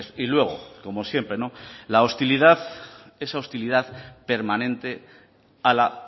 y luego como siempre la hostilidad esa hostilidad permanente a la